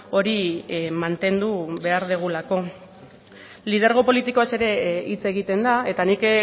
hori mantendu behar dugulako lidergo politikoaz ere hitz egiten da eta nik